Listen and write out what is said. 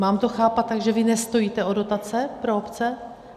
Mám to chápat tak, že vy nestojíte o dotace pro obce?